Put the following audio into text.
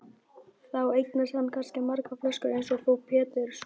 Þá eignast hann kannski margar flöskur eins og frú Pettersson.